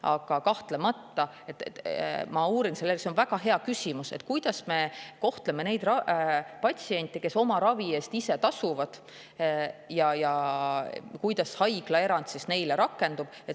Aga ma uurin selle järele, see on väga hea küsimus, et kuidas me kohtleme neid patsiente, kes oma ravi eest ise tasuvad, ja kuidas haiglaerand neile rakendub.